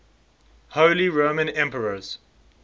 holy roman emperors